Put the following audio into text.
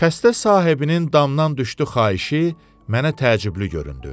Xəstə sahibinin damdan düşdü xahişi mənə təəccüblü göründü.